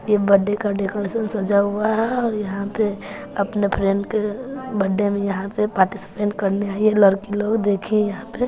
ये बड्डे का डेकोरेशन सजा हुआ है और यहां पे अपने फ्रेंड के बड्डे में यहां पे पार्टिसिपेंट करने आई हैं लड़की लोग देखे यहां पे--